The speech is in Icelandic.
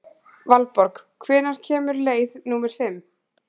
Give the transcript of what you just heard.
Valborg, hvenær kemur leið númer fimm?